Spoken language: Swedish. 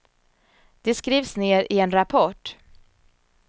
Det skrivs ner i en rapport.